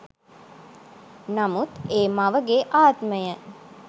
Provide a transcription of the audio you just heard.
නමුත් ඒ මවගේ ආත්මය